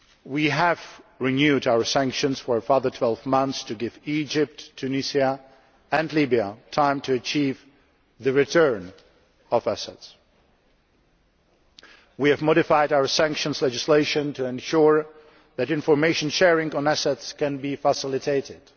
We have renewed our sanctions for a further 12 months to give Egypt, Tunisia and Libya time to achieve the return of assets. We have modified our sanctions legislation to ensure that information sharing on assets can be facilitated.